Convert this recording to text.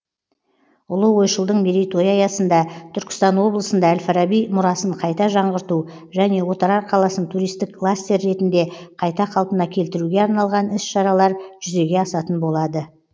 ұлы ойшылдың мерейтойы аясында түркістан облысында әл фараби мұрасын қайта жаңғырту және отырар қаласын туристік кластер ретінде қайта қалпына келтіруге арналған іс шаралар жүзеге асатын болады